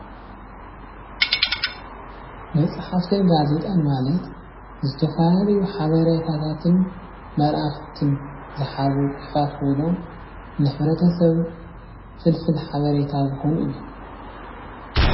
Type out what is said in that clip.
መፃሕፍትን ጋዜጣን ማለት ዝተፈላለዩ ሓበሬታን መልእክትን ዝሓዙ ፅሑፋት ኮይኖም ንሕብረተሰብ ፍልፍል ሓበሬታ ዝኮኑ እዮም ።